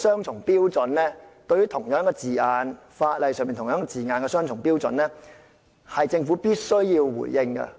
就着這種對法例的相同字眼採取雙重標準，政府必須回應。